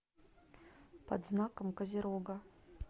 под знаком козерога